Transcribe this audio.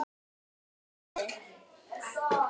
Þetta fer aldrei.